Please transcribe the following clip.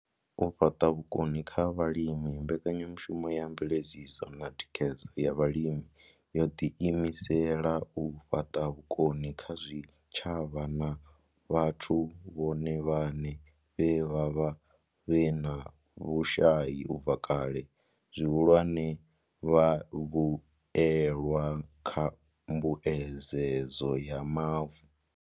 U fhaṱa vhukoni kha vhalimi mbekanyamushumo ya mveledziso na thikhedzo ya Vhalimi yo ḓi imisela u fhaṱa vhukoni kha zwitshavha na vhathu vhone vhaṋe vhe vha vha vhe na vhushai u bva kale, zwihulwane, vhavhuelwa kha mbuedzedzo ya mavu.